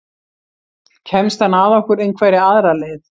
Kemst hann að okkur einhverja aðra leið?